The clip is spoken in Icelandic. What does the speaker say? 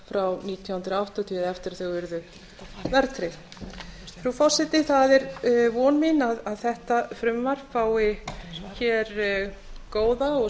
frá nítján hundruð áttatíu eftir að þau urðu verðtryggð frú forseti það er von mín að þetta frumvarp fái góða og